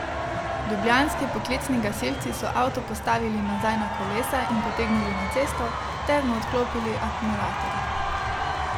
Ljubljanski poklicni gasilci so avto postavili nazaj na kolesa in potegnili na cesto ter mu odklopili akumulator.